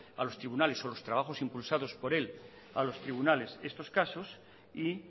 a los tribunales o los trabajos impulsados por él a los tribunales estos casos y